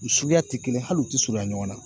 U suguya ti kelen hali u te surunya ɲɔgɔn na